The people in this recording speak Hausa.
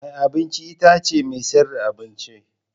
Mai abinci itace mai sayar da abinci.